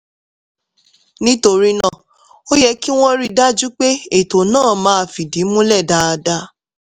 nítorí náà ó yẹ kí wọ́n rí i dájú pé ètò náà máa fìdí múlẹ̀ dáadáa